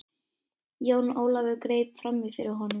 Jón Ólafur greip framí fyrir honum.